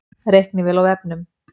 Reiknivél á vefnum